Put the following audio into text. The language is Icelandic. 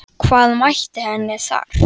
Hvað mætti henni þar?